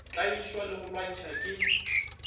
tlaišwa le go lwantšhwa ke